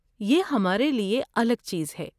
یہ ہمارے لیے الگ چیز ہے!